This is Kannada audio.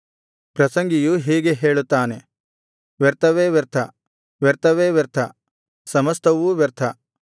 ಪ್ರಸಂಗಿಯು ಹೀಗೆ ಹೇಳುತ್ತಾನೆ ವ್ಯರ್ಥವೇ ವ್ಯರ್ಥ ವ್ಯರ್ಥವೇ ವ್ಯರ್ಥ ಸಮಸ್ತವೂ ವ್ಯರ್ಥ